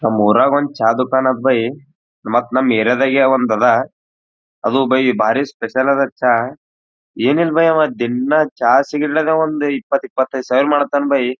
ನಮ್ಮೂರನ್ಗ್ ಒಂದು ಚಾ ದುಕಾನ್ ಅತ್ ಬೈಯ್ ಮತ್ ನಮ ಏರಿಯಾ ದಂಗೆ ಅದ ಅದು ಬೈಯ್ ಭಾರಿ ಸ್ಪೆಷಲ್ ಅದ ಚಾ ಏನ್ ಅದ ಬೈಯ್ ದಿನ್ನಚಾ ಸೇಲ್ ಮಾಡಿ ಏನಿಲ್ಲ ಆವಾ ಬೈಯ್ ಇಪ್ಪತ್ತು ಇಪ್ಪತೈದು ಸಾವಿರ ಮಾಡ್ತಾನೆ ಬೈಯ್.